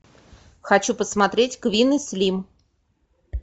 хочу посмотреть квин и слим